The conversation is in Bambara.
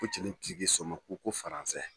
Ko cɛnin ti k'i son ma ko ko